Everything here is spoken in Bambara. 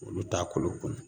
Olu t'a kolo kunu